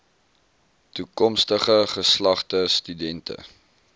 toekomstige geslagte studente